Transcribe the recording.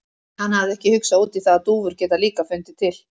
Hann hafði ekki hugsað út í það að dúfur geta líka fundið til.